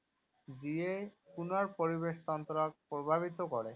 যিয়ে পুনৰ পৰিৱেশ তন্ত্ৰক প্ৰভাৱিত কৰে।